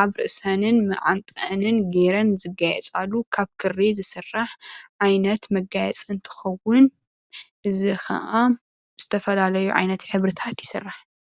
ኣብ ርእሰን መዓንጠአንን ጌረን ዝጋየፃሉ ካብ ክሪ ዝስራሕ ዓይነት መጋየፂ እንትኸዉን እዚ ከዓ ብዝተፈላለዩ ዓይነት ሕብርታት ይስራሕ።